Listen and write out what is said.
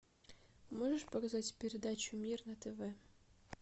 можешь показать передачу мир на тв